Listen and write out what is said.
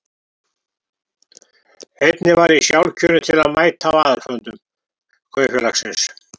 Einnig var ég sjálfkjörinn til að mæta á aðalfundum kaupfélagsins.